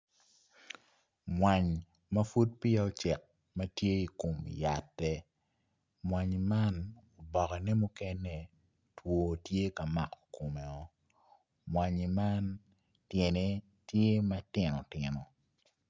Mwany ma pud peya ocek ma tye i kum yatte mwanyi man obokkene mukene two tye ka mako kummeo mwanyi man tyene tye matino tino